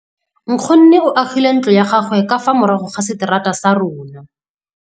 Nkgonne o agile ntlo ya gagwe ka fa morago ga seterata sa rona.